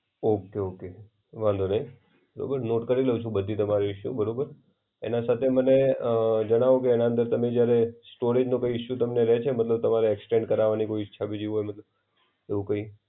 Okay! Okay! વાંધો નઈ. બરોબર નોટ કરી લેવ છુ બધી તમારી બરોબર. એના સાથે મને અ જણાવ કે એના અંદર તમે જયારે સ્ટોરેજનો કઈ ઇશુ તમને રહે છે? મતલબ તમારે એક્સચેન્જ કરવાની કોઈ ઈચ્છા બીજી હોય. એવું કઈ.